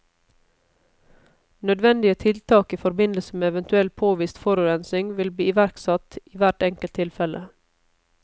Nødvendige tiltak i forbindelse med eventuell påvist forurensning vil bli iverksatt i hvert enkelt tilfelle.